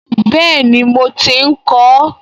Bẹ́ẹ̀ni mo ti ń kọ ọ́